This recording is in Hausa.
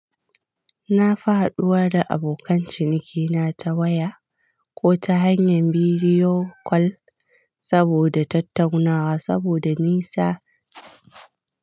Na fi haduwa da abokan cinikina ta waya ko ta hanyar bidiyo kol saboda tattaunawa saboda nisa.